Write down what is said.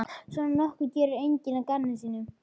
Svona nokkuð gerir enginn að gamni sínu.